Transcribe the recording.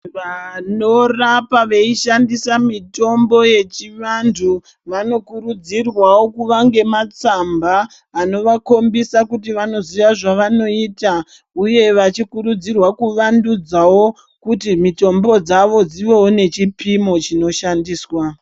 Vanorapa veishandisa mitombo yechiwandu vanokurudzirwawo kuwa ngematsamba anowa khombisa kuti wanoziwa zvawanoita uye vachikurudzirwa kuwandudzawo kuti mitombo dzawo dziwewo nechipimo chinoshandiswa.